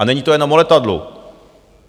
A není to jenom o letadlu.